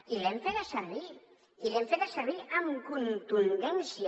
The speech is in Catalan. i l’hem feta servir i l’hem feta servir amb contundència